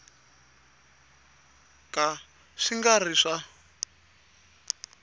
ka swi nga ri swa